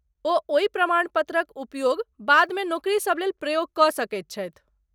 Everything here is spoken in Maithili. ओ ओहि प्रमाणपत्रक उपयोग बादमे नोकरीसब लेल प्रयोग कऽ सकैत छथि।